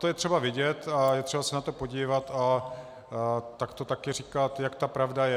To je třeba vidět a je třeba se na to podívat a tak to taky říkat, jak ta pravda je.